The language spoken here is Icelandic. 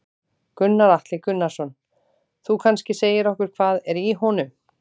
Gunnar Atli Gunnarsson: Þú kannski segir okkur hvað er í honum?